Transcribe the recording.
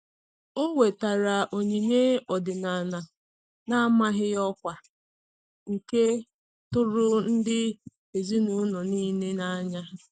O wetara onyinye ọdịnala n'amaghị ọkwa, nke tụrụ ndị ezinụlọ niile n'anya